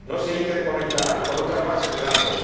No se interconectarán con otras bases de datos.